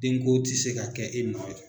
Den ko ti se ka kɛ e nɔ ye